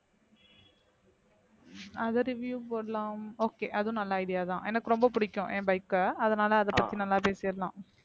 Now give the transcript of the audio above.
அத review போடலாம் okay அதுவும் நல்ல idea தான் எனக்கு ரொம்ப பிடிக்கும் என் bike அ அதனால அதை பத்தி நல்லா பேசிடலாம்